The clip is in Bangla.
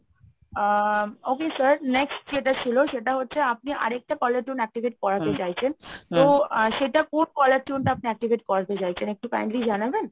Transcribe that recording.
আ okay sir next যেটা ছিল সেটা হচ্ছে আপনি আরেকটা caller tune activate করাতে চাইছেন তো আ সেটা কোন caller tune টা আপনি activate করাতে চাইছেন একটু kindly জানাবেন?